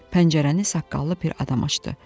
Pəncərəni saqqallı bir adam açdı.